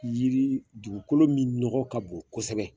Yiri dugukolo min ɲɔgɔ ka bon kosɛbɛ